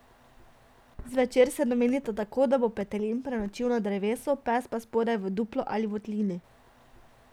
Zvečer se domenita tako, da bo petelin prenočil na drevesu, pes pa spodaj v duplu ali votlini.